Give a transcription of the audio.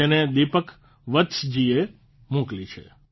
જેને દીપક વત્સજીએ મોકલી છે